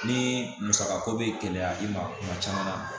Ni musaka ko bɛ gɛlɛya i ma kuma caman na